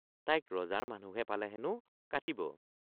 তাইক ৰজাৰ মানুহে পালে হেনো কাটিব।